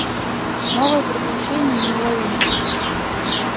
новые приключения неуловимых